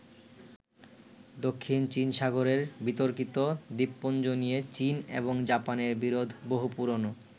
দক্ষিণ চীন সাগরের বিতর্কিত দ্বীপপুঞ্জ নিয়ে চীন এবং জাপানের বিরোধ বহু পুরোনো।